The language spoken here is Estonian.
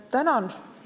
Tänan!